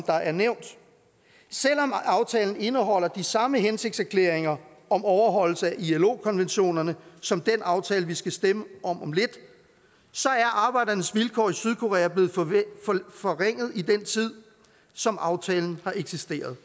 der er nævnt selv om aftalen indeholder de samme hensigtserklæringer om overholdelse i ilo konventionerne som den aftale vi skal stemme om om lidt er arbejdernes vilkår i sydkorea blevet forringet i den tid som aftalen har eksisteret